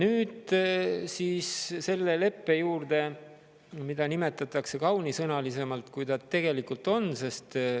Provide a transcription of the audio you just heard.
Nüüd siis selle leppe juurde, mida nimetatakse kaunimate sõnadega, kui ta tegelikult on.